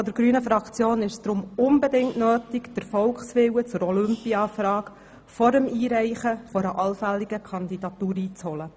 Aus Sicht der grünen Fraktion ist es deshalb unbedingt notwendig, den Volkswillen zur Olympiafrage vor dem Einreichen einer allfälligen Kandidatur einzuholen.